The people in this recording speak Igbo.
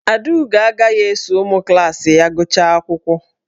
Adaugo agaghị eso ụmụ klaasị ya gụchaa akwụkwọ.